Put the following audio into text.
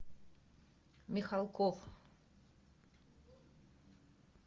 михалков